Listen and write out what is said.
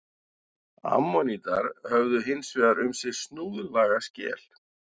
Ammonítar höfðu hins vegar um sig snúðlaga skel.